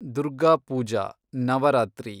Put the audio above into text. Durga Puja , Navratri